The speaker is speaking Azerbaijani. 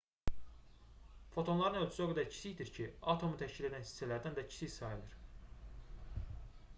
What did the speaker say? fotonların ölçüsü o qədər kiçikdir ki atomu təşkil edən hissələrdən də kiçik sayılır